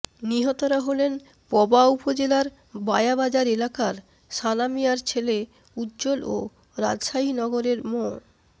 নিহতরা হলেন পবা উপজেলার বায়া বাজার এলাকার সানা মিয়ার ছেলে উজ্জ্বল ও রাজশাহী নগরের মো